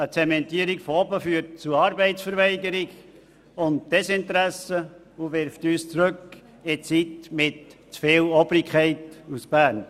Eine Zementierung von oben führt zu Arbeitsverweigerung sowie Desinteresse und wirft uns zurück in die Zeit mit zu viel Obrigkeit aus Bern.